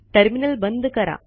terminal बंद करा